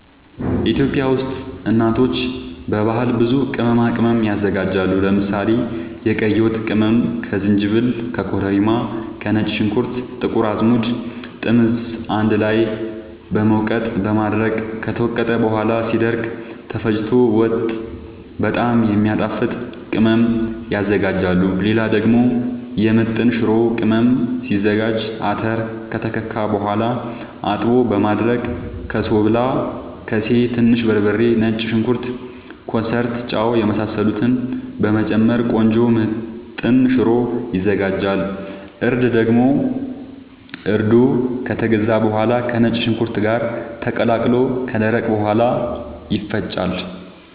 ኢትዮጵያ ውስጥ እናቶች በባህል ብዙ ቅመማ ቅመም ያዘጋጃሉ። ለምሳሌ፦ የቀይ ወጥ ቅመም ከዝንጅብል፣ ከኮረሪማ፣ ከነጭ ሽንኩርት፣ ጥቁር አዝሙድ፣ ጥምዝ አንድ ላይ በመውቀጥ በማድረቅ ከተወቀጠ በኋላ ሲደርቅ ተፈጭቶ ወጥ በጣም የሚያጣፋጥ ቅመም ያዝጋጃሉ። ሌላ ደግሞ የምጥን ሽሮ ቅመም ሲዘጋጅ :- አተር ከተከካ በኋላ አጥቦ በማድረቅ በሶብላ፣ ከሴ፣ ትንሽ በርበሬ፣ ነጭ ሽንኩርት፣ ኮሰረት፣ ጫው የመሳሰሉትን በመጨመር ቆንጆ ምጥን ሽሮ ይዘጋጃል። እርድ ደግሞ እርዱ ከተገዛ በኋላ ከነጭ ሽንኩርት ጋር ተቀላቅሎ ከደረቀ በኋላ ይፈጫል።